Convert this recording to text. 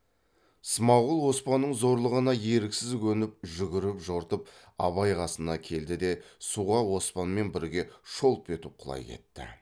смағұл оспанның зорлығына еріксіз көніп жүгіріп жортып абай қасына келді де суға оспанмен бірге шолп етіп құлай кетті